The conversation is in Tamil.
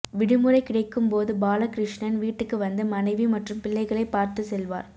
விடுமுறை கிடைக்கும்போது பாலகிருஷ்ணன் வீட்டுக்கு வந்து மனைவி மற்றும் பிள்ளைகளை பார்த்து செல்வார்